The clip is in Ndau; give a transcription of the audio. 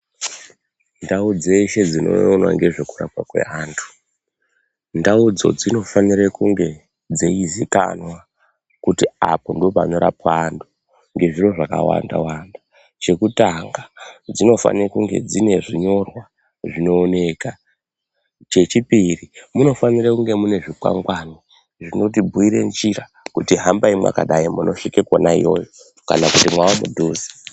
Ndau dzeshe dziinoona nezvekurapwa kweantu ndaudzo dzinofanire kunge dzeizikanwa kuti apo ndopanorapwa antu nezviro zvakawanda wanda. Chekutanga dzinofane kunge dzine zvinyorwa zvinooneka. Chechipiri munofanira kunge mune zvikwangwani zvintibhuyure njira kuti hambai mwakadai munosvike kwona iyoyo kana kuti mwamudhuze.